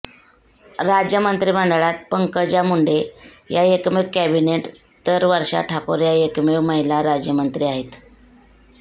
राज्य मंत्रिमंडळात पंकजा मुंडे या एकमेव कॅबिनेट तर वर्षा ठाकूर या एकमेव महिला राज्यमंत्री आहेत